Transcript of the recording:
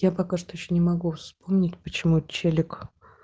я пока что ещё не могу вспомнить почему челик